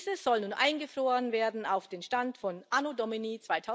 Dieses soll nun eingefroren werden auf dem Stand von Anno Domini